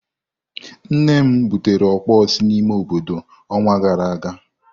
Nne nnem butere okpor si n'ime obodo onwa gara aga.